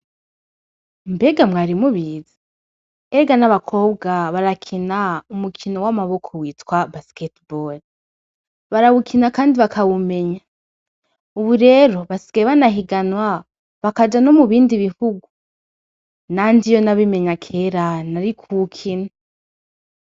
Mbega mwari mubiza erga n'abakobwa barakina umukino w'amaboko witwa basketebol barawukina, kandi bakawumenya, ubu rero basikae banahiganwa bakaja no mu bindi bihugu nandi iyo nabimenya kera nari ko ukina.